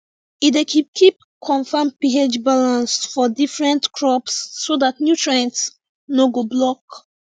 e dey keep keep confam ph balance for different crops so dat nutrients no go block